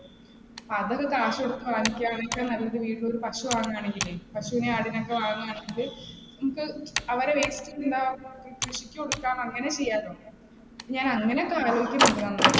അതൊക്കെ കാശുകൊടുത്ത് നല്ലത് വീട്ടിൽ ഒരു പശു വാങ്ങുവാണെങ്കിലെ, പശുവിനെയും ആടിനെയും ഒക്കെ വാങ്ങുകയാണെങ്കിൽ ഇപ്പം അവരെ കൃഷിക്ക് കൊടുക്ക അങ്ങനേം ചെയ്യാലോ. ഞാൻ അങ്ങനെയൊക്കെ ആലോചിക്കുന്നുണ്ട് നന്നായിട്ട്.